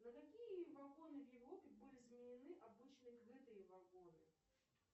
на какие вагоны в европе были заменены обычные крытые вагоны